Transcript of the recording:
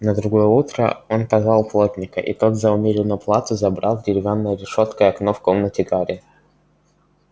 на другое утро он позвал плотника и тот за умеренную плату забрал деревянной решёткой окно в комнате гарри